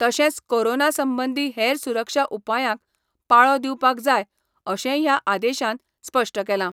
तशेंच कोरोना संबंधी हेर सुरक्षा उपायांक पाळो दिवपाक जाय अशेंय ह्या आदेशान स्पष्ट केला.